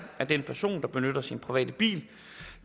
at den person der benytter sin private bil